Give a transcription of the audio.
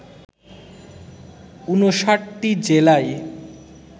৫৯টি জেলায়